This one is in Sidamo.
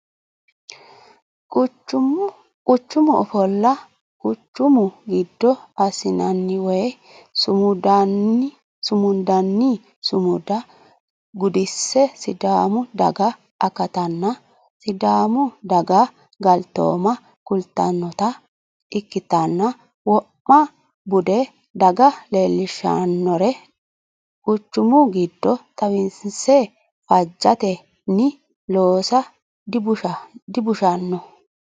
Quchumu ofolla quchumu giddo assinanni woyi sumundanni sumuda gudise sidaamu daga akatanna sidaamu daga galtoomma kultanotta ikkittanna wo'ma bude daga leellishshanore quchumu giddo xawinse faajjetenni loossa dibushano.